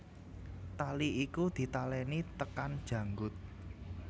Tali iku ditaleni tekan janggut